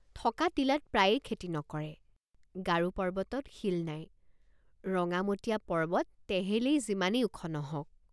থকা টিলাত প্ৰায়ে খেতি নকৰে। থকা টিলাত প্ৰায়ে খেতি নকৰে। গাৰো পৰ্বতত শিল নাই ৰঙামটীয়া পৰ্বত তেহেলেই যিমানেই ওখ নহওক।